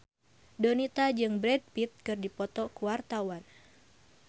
Donita jeung Brad Pitt keur dipoto ku wartawan